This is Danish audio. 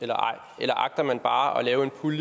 jarlov ud